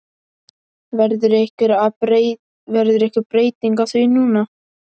Verður einhver breyting á því núna?